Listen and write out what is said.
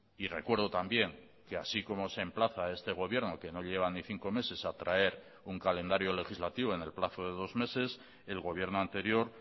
y recuerdo también que así como se emplaza este gobierno que no llevan ni cinco meses a traer un calendario legislativo en el plazo de dos meses el gobierno anterior